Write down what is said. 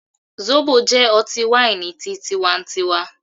Zobo jẹ ọti-waini ti tíwá ń tíwa